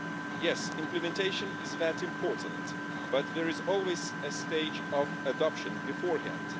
Yes, implementation is that important, but there is always a stage of adoption beforehand.